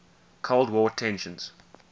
cold war tensions